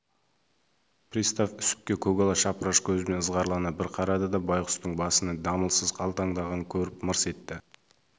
пристав үсіпке көкала шапыраш көзімен ызғарлана бір қарады да байғұстың басының дамылсыз қалтаңдағанын көріп мырс етті